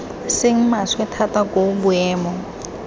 seng maswe thata koo boemo